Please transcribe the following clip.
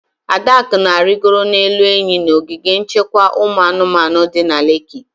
Adaku na-arigoro n'elu enyi n'ogige nchekwa ụmụ anụmanụ di na Leki